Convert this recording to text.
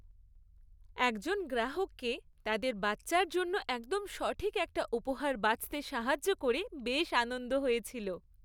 একজন গ্রাহককে তাদের বাচ্চার জন্য একদম সঠিক একটা উপহার বাছতে সাহায্য করে বেশ আনন্দ হয়েছিল।